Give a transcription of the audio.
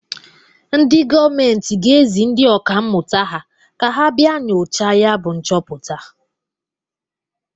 Ndị gọọmentị ga-ezi ndị ọka mmụta ha ka ha bia nyochaa yabụ nchọpụta.